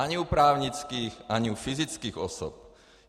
Ani u právnických, ani u fyzických osob.